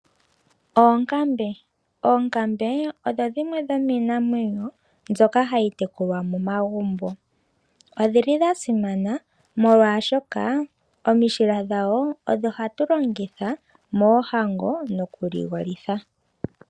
Oonkambe, oonkambe odho dhimwe dho miinamwenyo mbyoka hayi tekulwa momagumbo odhili dha simana molwashoka oomishila dhawo odho hatu longitha moohango nokuligolitha.